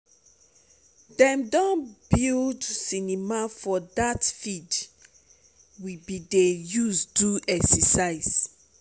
dem don don build cinema for that field we bin dey use do exercise